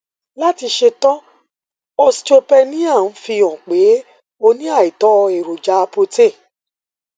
láti ṣe tán osteopenia ń fi hàn pé o ní àìtó èròjà protein